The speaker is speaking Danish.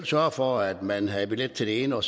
sørge for at man havde billet til det ene og